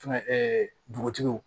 Tɛmɛ ɛɛ dugutigiw